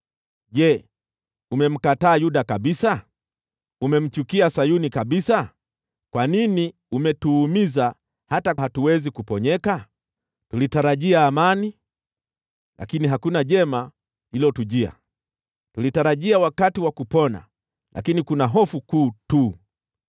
Je, umemkataa Yuda kabisa? Umemchukia Sayuni kabisa? Kwa nini umetuumiza hata hatuwezi kuponyeka? Tulitarajia amani, lakini hakuna jema lililotujia; tulitarajia wakati wa kupona lakini kuna hofu kuu tu.